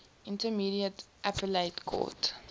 intermediate appellate court